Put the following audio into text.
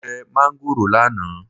Mo jẹ máángòrò lánàá